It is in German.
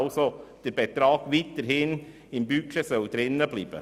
Der Betrag soll also weiterhin im Budget bleiben.